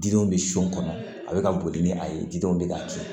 Didenw bɛ so kɔnɔ a bɛ ka boli ni a ye didenw bɛ ka tiɲɛ